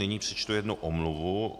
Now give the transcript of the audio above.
Nyní přečtu jednu omluvu.